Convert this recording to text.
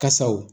Kasaw